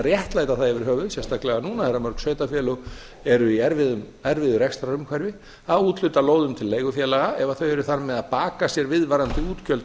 réttlæta það yfirhöfuð sérstaklega núna þegar mörg sveitarfélög eru í erfiðu rekstrarumhverfi að úthluta lóðum til leigufélaga ef þau eru þar með að baka sér viðvarandi útgjöld